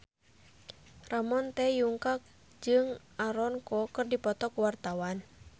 Ramon T. Yungka jeung Aaron Kwok keur dipoto ku wartawan